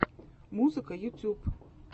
музыка ютюб